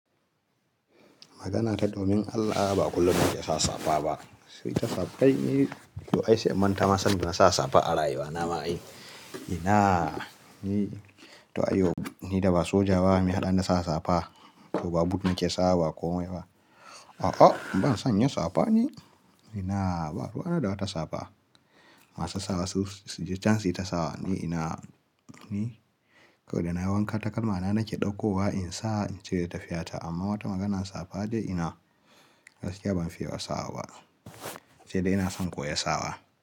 Maganata domin Allah ba kullum muke sa safa ba. Sai ka safa yi, to ai sai manta masa. Saboda nasa safa ara iya wa nama. Ina yi to ai yo ni da ba soja ba mai haɗin nasa safa. To ba but muke sawa ba komai ba. A'a ban son yin safa ne. Ina ba ruwa na da wata safa. Masu sawa su suji chansi ta sawa ne. Ina ni kawai da na wanka takalma na nake ɗauko wa in sa in cire tafiyata. Amma wata maganan safa dai ina gaskiya ban fiya sawa ba. Cewa ina son koya sawa.